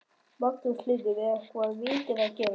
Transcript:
Magnús Hlynur: Er eitthvað vitað hvað gerðist?